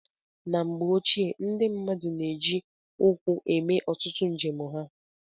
Na mgbe ochie, ndị mmadụ na-eji ụkwụ eme ọtụtụ njem ha.